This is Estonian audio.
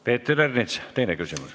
Peeter Ernits, teine küsimus.